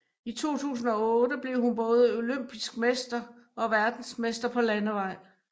I 2008 blev hun både olympisk mester og verdensmester på landevej